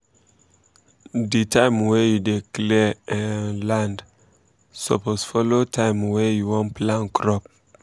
the um time wey you dey clear um land suppose follow time wey um you wan plant crop